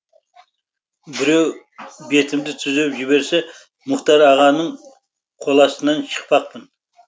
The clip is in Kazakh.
біреу бетімді түзеп жіберсе мұхтар ағаның қоластынан шықпақпын